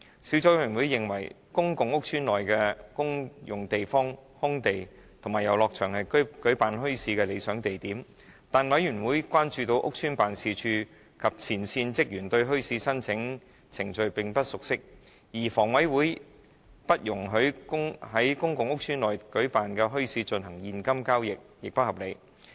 小組委員會認為公共屋邨內的公用地方、空地和遊樂場是舉辦墟市的理想地點。但是，小組委員會關注到屋邨辦事處及前線職員對墟市申請程序並不熟悉，而香港房屋委員會不容許在公共屋邨內舉辦的墟市進行現金交易亦不合理。